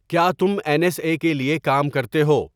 کیا تم N S A کے لیے کام کرتے ہو؟